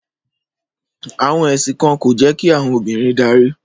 Àwọn ẹ̀sìn kan kò jẹ́ kí àwọn obìnrin darí